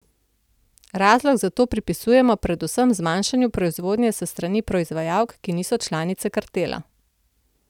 Razlog za to pripisujejo predvsem zmanjšanju proizvodnje s strani proizvajalk, ki niso članice kartela.